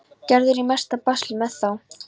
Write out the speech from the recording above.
Gerður á í mesta basli með þá.